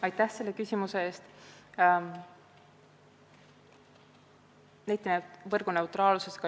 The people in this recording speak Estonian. Aitäh selle küsimuse eest!